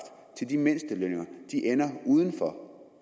til de mindstelønninger ender uden for